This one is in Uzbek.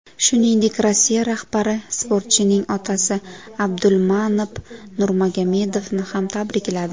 Shuningdek, Rossiya rahbari sportchining otasi Abdulmanop Nurmagomedovni ham tabrikladi.